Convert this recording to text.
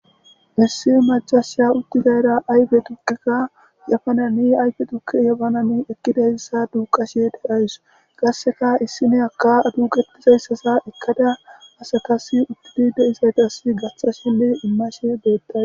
Issi majashiya utti gayra ayfe tukikka yafanani ayfe tukki yabanane ekkidayssa duuqashe derays qasseka issi ne akka duuqetizayssaza ekkada asakasi uttudi deizayta assi gaththasenne immashe deettay